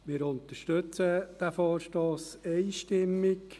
Wir unterstützen den Vorstoss einstimmig.